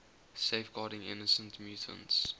safeguarding innocent mutants